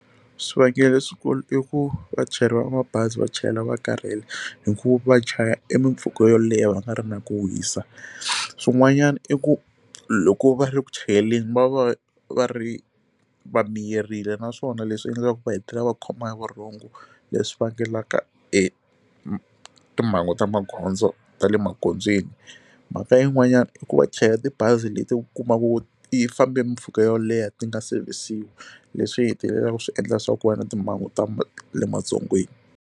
Swivangelo leswikulu i ku vachayeri va mabazi va chayela va karhele hikuva chaya emimpfhuka yo leha va nga ri na ku wisa swin'wanyana i ku loko va ri ku chayeleni va va va ri va meyerile naswona leswi endlaka ku va hetelela va khomiwa hi vurhongo leswi vangelaka etimhangu ta magondzo ta le magondzweni mhaka yin'wanyana i ku va chayela tibazi leti ku kumaku yi fambe mimpfhuka yo leha ti nga sevisiwi leswi hetelelaka swi endla leswaku ku va na timhangu ta le madzongweni.